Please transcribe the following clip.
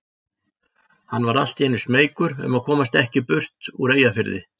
Hann varð allt í einu smeykur um að komast ekki burt úr Eyjafirði.